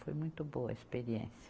Foi muito boa a experiência.